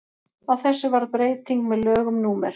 á þessu varð breyting með lögum númer